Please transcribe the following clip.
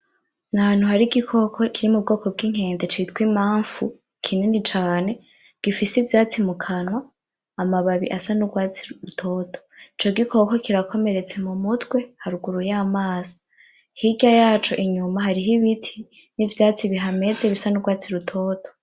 Ni ahantu hari igikoko kiri mu bwoko bw'inkende citwa Imamfu kinini cane gifise ivyatsi mu kanwa, amababi asa n'urwatsi rutoto. Ico gikoko kirakomeretse mumutwe, haruguru y'amaso. Hirya yaco inyuma hariho ibiti n'ivyatsi bihameze bisa n'urwatsi rutoto.